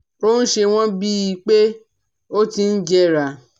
Ó ń ṣe wọ́n bí i pé ó ti ń jẹrà